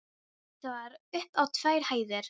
Það var upp á tvær hæðir.